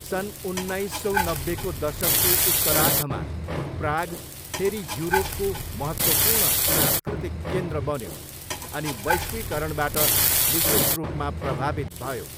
सन् उन्नाइसौ नब्बेको दशकको उत्तरार्धमा प्राग फेरि युरोपको महत्त्वपूर्ण सांस्कृतिक केन्द्र बन्यो अनि वैश्विकरणबाट विशेष रूपमा प्रभावित भयो।